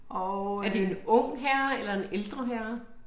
Er det en ung herre eller en ældre herre?